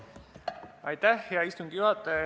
Hea istungi juhataja!